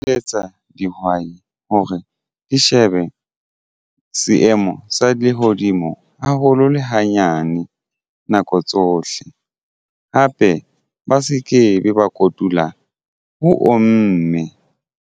Eletsa dihwai hore di shebe seemo sa lehodimo haholo le hanyane nako tsohle hape ba se ke be ba kotula ho omme.